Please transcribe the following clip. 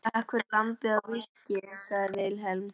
Takk fyrir lambið og viskíið, sagði Vilhelm.